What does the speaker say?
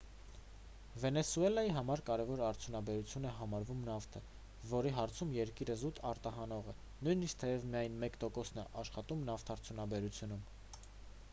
վենեսուելայի համար կարևոր արդյունաբերություն է համարվում նավթը որի հարցում երկիրը զուտ արտահանող է նույնիսկ թեև միայն մեկ տոկոսն է աշխատում նավթարդյունաբերությունում